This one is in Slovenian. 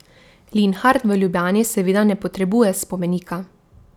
Linhart v Ljubljani seveda ne potrebuje spomenika.